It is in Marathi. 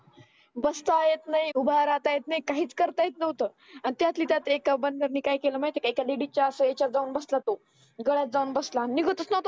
बसता येत नाय उभा राहता येत नाय काहीच करता येत नव्हतं आणि त्यातल्या त्यात एका बंदर ने काय केलं माहिती आहे का एका ladies च्या जाऊन बसला तो घरात जाऊन बसला आणि निघतचं नव्हता